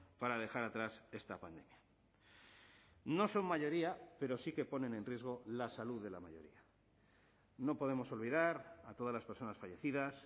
para dejar atrás esta pandemia no son mayoría pero sí que ponen en riesgo la salud de la mayoría no podemos olvidar a todas las personas fallecidas